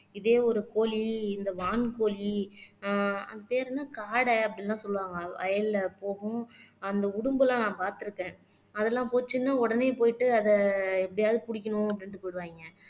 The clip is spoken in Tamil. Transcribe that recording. இதே ஒரு கோழி இந்த வான்கோழி ஆஹ் அது பேரு என்ன காடை அப்படின்னு எல்லாம் சொல்லுவாங்க வயல்ல போகும் அந்த உடும்பெல்லாம் நான் பார்த்திருக்கேன் அதெல்லாம் போச்சுன்னு உடனே போயிட்டு அதை எப்படியாவது பிடிக்கணும் அப்படின்னுட்டு போயிடுவாங்க